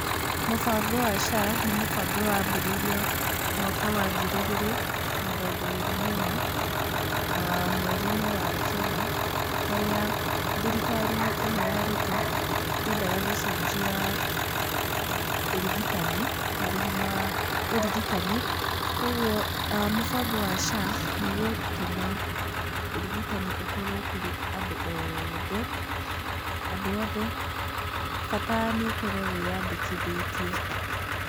Mũbango wa SHA, nĩ mũbango wambĩrĩirio mwaka wa ngiri igĩrĩ mĩrongo ĩrĩ na ĩna, aah mweri-inĩ wa kenda, harĩa thirikari ĩno ya Ruto yendaga gũcenjia ũrigitani, marĩhi ma ũrigitani, koguo a mũbango wa SHA nĩ gũtũma ũrigitani ũkorwo kũrĩ andũ othe, andũ othe bata nĩ ũkorwo wĩyandĩkithĩtie.